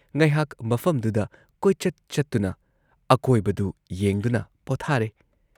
ꯉꯩꯍꯥꯛ ꯃꯐꯝꯗꯨꯗ ꯀꯣꯏꯆꯠ ꯆꯠꯇꯨꯅ ꯑꯀꯣꯏꯕꯗꯨ ꯌꯦꯡꯗꯨꯅ ꯄꯣꯊꯥꯔꯦ꯫